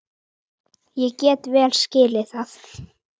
Ég get vel skilið það.